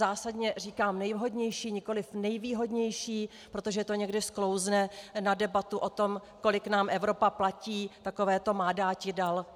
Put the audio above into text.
Zásadně říkám nejvhodnější, nikoliv nejvýhodnější, protože to někdy sklouzne na debatu o tom, kolik nám Evropa platí, takové to má dáti - dal.